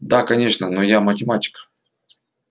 да конечно но я математик